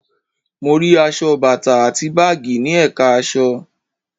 Mo rí aṣọ, bàtà àti báàgì ní ẹ̀ka aṣọ